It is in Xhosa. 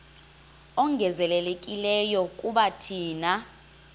ongezelelekileyo kuba thina